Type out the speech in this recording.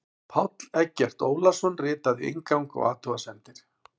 Páll Eggert Ólason ritaði inngang og athugasemdir.